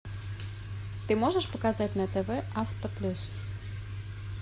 ты можешь показать на тв авто плюс